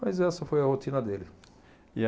Mas essa foi a rotina dele. E